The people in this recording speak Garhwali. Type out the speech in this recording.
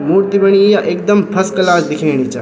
मूर्ति बनी या एकदम फस्क्लास दिखेनी चा ।